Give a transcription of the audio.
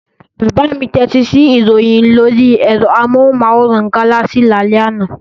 Bàbá mi tẹ́tí sí ìròyìn lórí ẹ̀rọ amóhùmáwòhán Galaxy lálẹ́ àná.